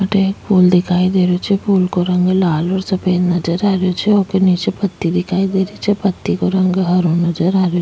अठे एक फूल दिखाई दे रहियो छे फूल को रंग लाल और सफ़ेद नजर आ रहियो छे ऊके नीचे पत्ती दिखाई दे रही छे पत्ती को रंग हरो नजर आ रहियो --